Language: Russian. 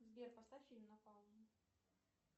сбер поставь фильм на паузу